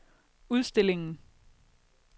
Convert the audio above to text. udstillingen